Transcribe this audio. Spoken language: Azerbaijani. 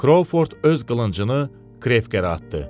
Krovford öz qılıncını Krevkerə atdı.